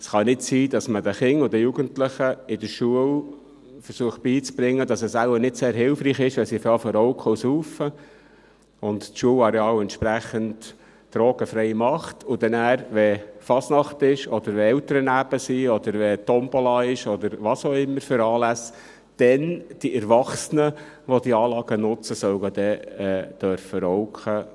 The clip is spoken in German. Es kann ja nicht sein, dass man den Kindern und den Jugendlichen in der Schule beizubringen versucht, dass es nicht sehr hilfreich ist, wenn sie zu rauchen und zu trinken anfangen, und das Schulareal entsprechend drogenfrei macht, und danach, wenn Fasnacht, Elternabende, eine Tombola oder was auch immer für Anlässe stattfinden, die Erwachsenen dann, wenn sie diese Anlage nutzen, rauchen und trinken dürfen sollen.